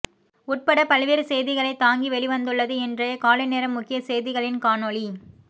உட்பட பல்வேறு செய்திகளை தாங்கி வெளிவந்துள்ளது இன்றைய காலைநேர முக்கிய செய்திகளின் காணொளி